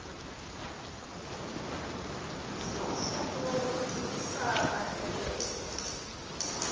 zinomfutho wokuncintisana ngentengo